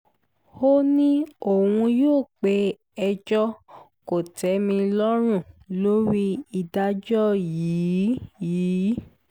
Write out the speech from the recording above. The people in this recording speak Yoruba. ó ní òun yóò pe ẹjọ́ kò-tẹ́-mi-lọ́rùn lórí ìdájọ́ yìí yìí